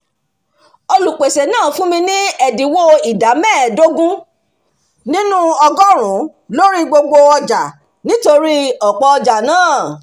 olùpèsè náà fún mi ní ẹ̀dínwó ìdá mẹ́ẹdógún nínú ọgọ́rùnún lórí gbogbo ọjà nítorí ọ̀pọ̀ ọjà náà